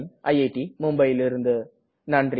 dub செய்து இப்போது வந்தனம் கூறி விடை பெறுவது பிரவின்